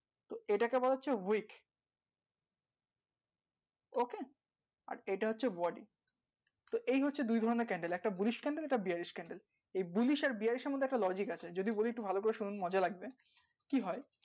এটাকে বলা হচ্ছে week okay আর এটা হচ্ছে body তো এই হচ্ছে দুই ধরণের candle একটা bullish candle bearish candle এই bullish bearish মধ্যে একটা logic আছে যদি বলি একটু ভালো করে শুনুন মজা লাগবে কি হয়